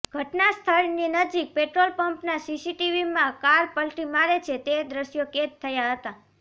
ઘટના સ્થળની નજીક પેટ્રોલ પંપના સીસીટીવીમાં કાર પલટી મારે છે તે દ્રશ્યો કેદ થયા હતા